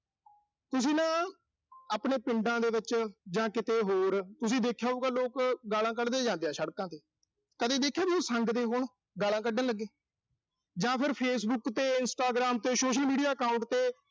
ਤੁਸਾਂ ਨਾ ਆਪਣੇ ਪਿੰਡਾਂ ਦੇ ਵਿੱਚ ਜਾਂ ਕਿਤੇ ਹੋਰ, ਤੁਸੀਂ ਦੇਖਿਆ ਹੋਊਗਾ, ਲੋਕ ਗਾਲ੍ਹਾਂ ਕੱਢਦੇ ਜਾਂਦੇ ਆ ਸੜਕਾਂ ਤੇ। ਕਦੇ ਦੇਖਿਆ ਵੀ ਸੰਗਦੇ ਹੋਣ, ਗਾਲਾਂ ਕੱਢਣ ਲੱਗੇ। ਜਾਂ ਫਿਰ Facebook ਤੇ Instagram ਤੇ social media account ਤੇ